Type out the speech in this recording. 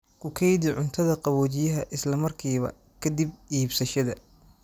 Ku kaydi cuntada qaboojiyaha isla markiiba ka dib iibsashada.